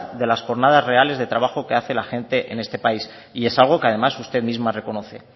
de las jornadas reales de trabajo que hace la gente en este país y es algo que además usted misma reconoce